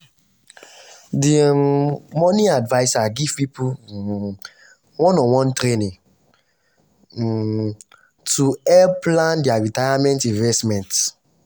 the um money adviser give people um one-on-one training um to help plan their retirement investment.